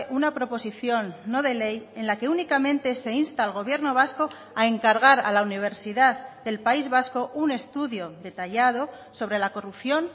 una proposición no de ley en la que únicamente se insta al gobierno vasco a encargar a la universidad del país vasco un estudio detallado sobre la corrupción